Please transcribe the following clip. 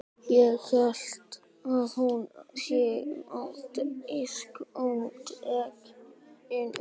Ég held að hún sé á diskótekinu.